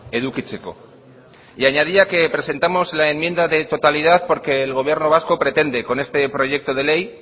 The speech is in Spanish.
edukitzeko y añadía que presentamos la enmienda de totalidad porque el gobierno vasco pretende con este proyecto de ley